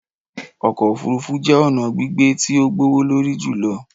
Ọkọ ofurufu jẹ ọna gbigbe ti o gbowolori julọ.